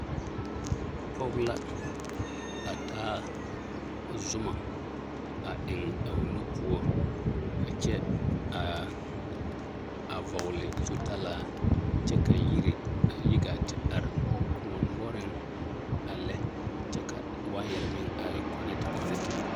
Pɔge la a taa zoma a eŋ a o nu poɔ a kyɛ a vɔgele zutalaa kyɛ ka yiri a yi gaa te are kõɔ noɔreŋ a lɛ kyɛ ka waayɛre meŋ a yɛ kɔnɛte kɔnɛte.